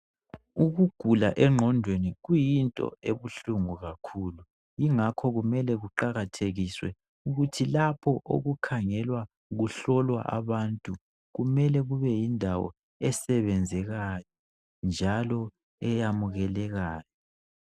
Ukugula engqondweni kuyinto ebuhlungu kakhulu. Ingakho kumele kuqakathekiswe ukuthi lapho okukhangelwa kuhlolwa abantu kumele kube yindawo esebenzekayo njalo eyamukelekayo